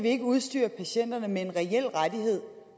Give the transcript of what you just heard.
ikke udstyre patienterne med en reel rettighed